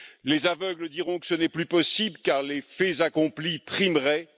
Les aveugles diront que ce n'est plus possible, car les faits accomplis primeraient.